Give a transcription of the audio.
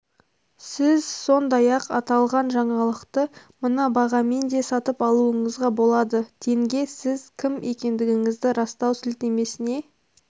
сіз сондай-ақ аталған жаңалықты мына бағамен де сатып алуыңызға болады тенге сіз кім екендігіңізді растау сілтемесіне